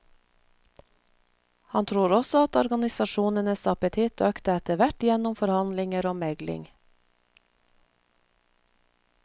Han tror også at organisasjonenes appetitt økte etterhvert gjennom forhandlinger og megling.